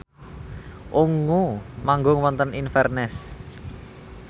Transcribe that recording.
Ungu manggung wonten Inverness